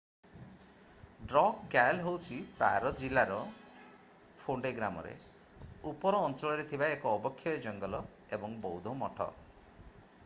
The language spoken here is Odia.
ଡ୍ରକ୍ ଗ୍ୟାଲ୍ ହେଉଛି ପାରୋ ଜିଲ୍ଲାର ଫୋଣ୍ଡେ ଗ୍ରାମରେ ଉପର ଅଞ୍ଚଳରେ ଥିବା ଏକ ଅବକ୍ଷୟ ଜଙ୍ଗଲ ଏବଂ ବୌଦ୍ଧ ମଠ।